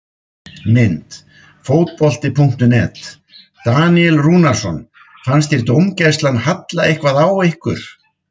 Mynd: Fótbolti.net- Daníel Rúnarsson Fannst þér dómgæslan halla eitthvað á ykkur?